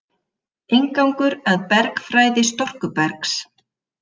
Inngangur að bergfræði storkubergs.